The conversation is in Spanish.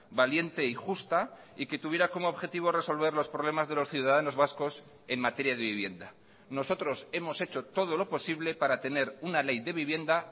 valiente y justa y que tuviera como objetivo resolver los problemas de los ciudadanos vascos en materia de vivienda nosotros hemos hecho todo lo posible para tener una ley de vivienda